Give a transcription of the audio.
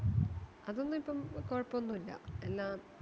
അതൊന്നിപ്പം കൊഴപ്പോന്നുല്ല എല്ലാം